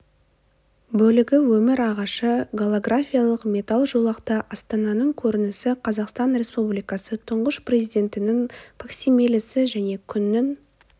бөлігі өмір ағашы голографиялық металл жолақта астананың көрінісі қазақстан республикасы тұңғыш президентінің факсимилесі және күннің